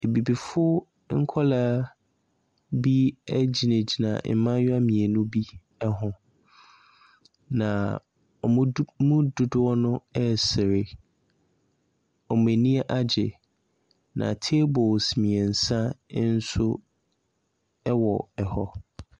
Abibifoɔ nkwadaa bi gyinagyina mmayewa mmienu bi ho, na wɔn mu dodoɔ no resere. Wɔn ani agye, na tables mmeɛnsa nso wɔ hɔ.